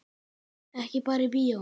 Ekki bara í bíó.